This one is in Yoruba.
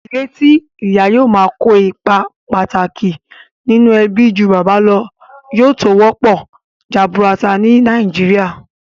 Ìdílé tí ìyà yóò máa kó ipa pàtàkì nínú ẹbí ju bàbá lọ, yóò tó pọ̀ jaburutu ní nàìjíría